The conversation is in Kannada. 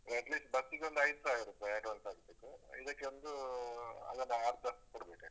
At least ಬಸ್ಸಿಗೊಂದು ಐದು ಸಾವಿರ ರುಪಾಯ್ advance ಆಗ್ಬೇಕು. ಇದಕ್ಕೆ ಒಂದು ಅದರ ಅರ್ಧ ಕೊಡ್ಬೇಕಾಗುತ್ತೆ.